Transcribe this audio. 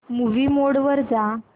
movie mode वर जा